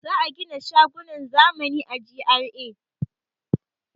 Za a gina shagunan zamani a GRA.